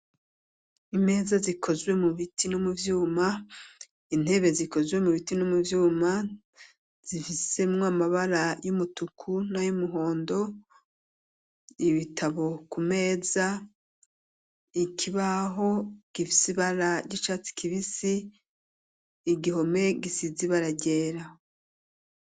Imeza zikozwe mu biti no mu vyuma, intebe zikozwe mu biti no mu vyuma, zifisemwo amabara y'umutuku n'ay'umuhondo, ibitabo ku meza, ikibaho gifise ibara ry'icatsi kibisi, igihome gisize ibara ryera.